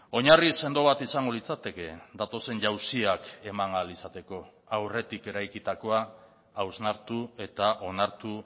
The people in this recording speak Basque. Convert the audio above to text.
oinarri sendo bat izango litzateke datozen jauziak eman ahal izateko aurretik eraikitakoa hausnartu eta onartu